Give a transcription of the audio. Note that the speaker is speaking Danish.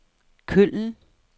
Køln